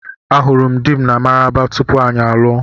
Ahụrụ m dị m na Maraba tupu anyị alụọ.